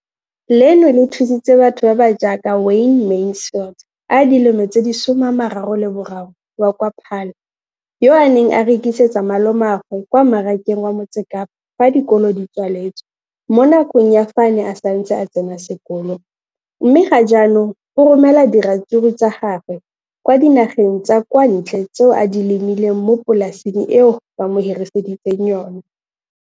Leno le thusitse batho ba ba jaaka Wayne Mansfield, 33, wa kwa Paarl, yo a neng a rekisetsa malomagwe kwa Marakeng wa Motsekapa fa dikolo di tswaletse, mo nakong ya fa a ne a santse a tsena sekolo, mme ga jaanong o romela diratsuru tsa gagwe kwa dinageng tsa kwa ntle tseo a di lemileng mo polaseng eo ba mo hiriseditseng yona.